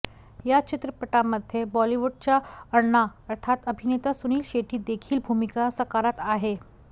या चित्रपटामध्ये बॉलीवूडचा अण्णा अर्थात अभिनेता सुनील शेट्टी देखील भूमिका साकारत आहे